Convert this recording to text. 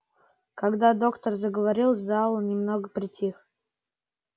когда доктор заговорил зал немного притих